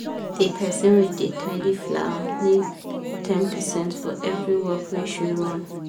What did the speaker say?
the person wey da tidy flower nego ten percent for every work wey she run